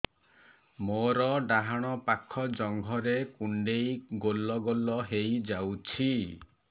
ମୋର ଡାହାଣ ପାଖ ଜଙ୍ଘରେ କୁଣ୍ଡେଇ ଗୋଲ ଗୋଲ ହେଇଯାଉଛି